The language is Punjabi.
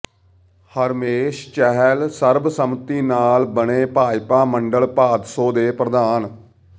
ਹਰਮੇਸ਼ ਚਹਿਲ ਸਰਬ ਸੰਮਤੀ ਨਾਲ ਬਣੇ ਭਾਜਪਾ ਮੰਡਲ ਭਾਦਸੋਂ ਦੇ ਪ੍ਰਧਾਨ